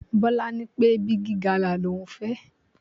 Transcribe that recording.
Bọ́lá ní pé Bigi gala l'ohun fẹ́.